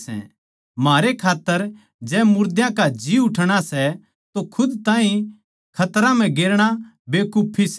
म्हारे खात्तर जै मुर्दां का जी उठणा सै तो खुद ताहीं खतरां म्ह गेरणा बेकुफी सै